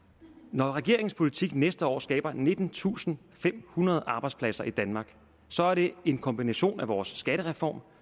når regeringens politik næste år skaber nittentusinde og femhundrede arbejdspladser i danmark så er det en kombination af vores skattereform